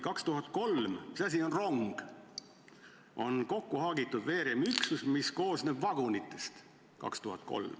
2003: rong on kokkuhaagitud veeremiüksus, mis koosneb vagunitest.